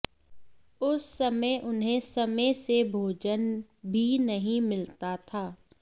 उस समय उन्हें समयसे भोजन भी नहीं मिलता था